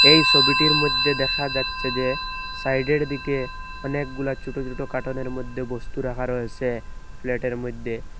এই সবিটির মধ্যে দেখা যাচ্ছে যে সাইডের দিকে অনেকগুলা ছোট ছোট কাটোনের মধ্যে বস্তু রাখা রয়েসে ফ্ল্যাটের মধ্যে।